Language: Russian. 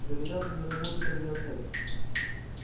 вероятно не работает радиоцель